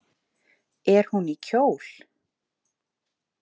Er hún í kjól?